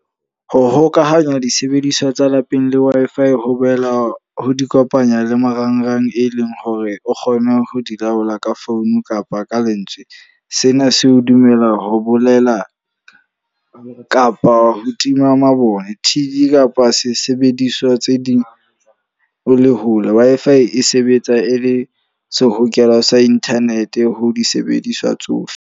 Ho hokahanya disebediswa tsa lapeng le Wi-Fi ho boela ho di kopanya le marangrang, e leng hore o kgone ho di laola ka phone kapa ka lentswe. Sena se o dumela ho bolela kapa ho tima mabone. T_V kapa sesebediswa tse ding o le hole. Wi-Fi e sebetsa e le sehokelo sa internet ho disebediswa tsohle.